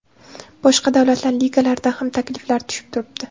Boshqa davlatlar ligalaridan ham takliflar tushib turibdi.